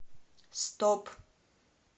стоп